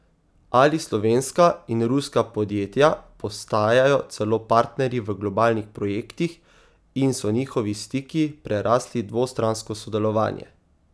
Ali slovenska in ruska podjetja postajajo celo partnerji v globalnih projektih in so njihovi stiki prerasli dvostransko sodelovanje?